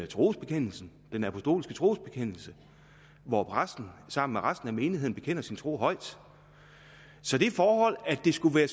trosbekendelsen den apostolske trosbekendelse hvor præsten sammen med resten af menigheden bekender sin tro højt så det forhold at det skulle være